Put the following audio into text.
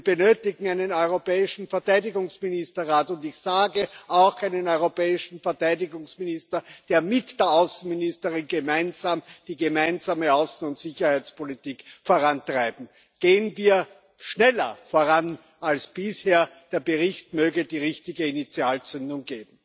Wir benötigen einen europäischen Verteidigungsministerrat, und ich sage, auch einen europäischen Verteidigungsminister, der mit der Außenministerin gemeinsam die Gemeinsame Außen und Sicherheitspolitik vorantreibt. Gehen wir schneller voran als bisher der Bericht möge die richtige Initialzündung geben.